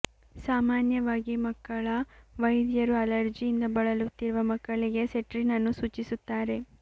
ಸಾಮಾನ್ಯವಾಗಿ ಮಕ್ಕಳ ವೈದ್ಯರು ಅಲರ್ಜಿಯಿಂದ ಬಳಲುತ್ತಿರುವ ಮಕ್ಕಳಿಗೆ ಸೆಟ್ರಿನ್ ಅನ್ನು ಸೂಚಿಸುತ್ತಾರೆ